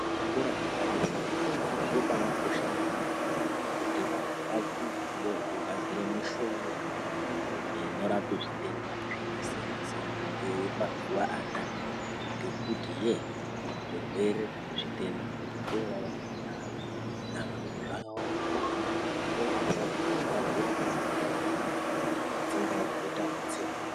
Muzvikora zvepadera-dera zvobaakosha maningi kuti vantu vadzidze ngezvekugadzira mishonga inorapa zvitenda zvakasiyana-siyana yemazuwa anaya. Ngekuti yee zvirwere, zvitenda, zvetoorarama mundaramo nazvo zvakawanda. Hino vogadzira mishonga idzodzo, dzingaa dzinoita ekutsengwa